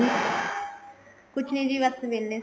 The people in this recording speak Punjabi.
ਕੁੱਛ ਨੀ ਜੀ ਬੱਸ ਵਿਹਲੇ ਸੀ